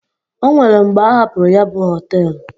O nwere mgbe a hapụrụ ya bụ họtel.